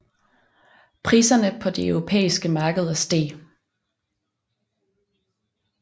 Priserne på de europæiske markeder steg